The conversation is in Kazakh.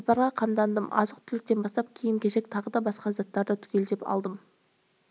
сапарға қамдандым азық-түліктен бастап киім-кешек тағы да басқа заттарды түгел алдым